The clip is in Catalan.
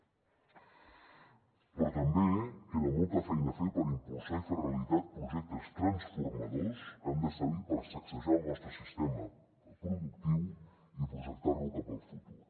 però també queda molta feina a fer per impulsar i fer realitat projectes transformadors que han de servir per sacsejar el nostre sistema productiu i projectar lo cap al futur